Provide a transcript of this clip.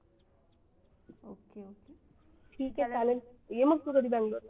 ठीक आहे चालेल ये मग तू कधी बंगलोरला